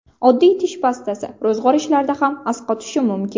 Oddiy tish pastasi ro‘zg‘or ishlarida ham asqotishi mumkin .